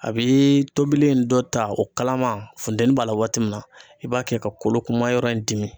A bi tobili in dɔ ta o kalama funteni b'a la waati min na, i b'a kɛ ka kolo kunma yɔrɔ in dimi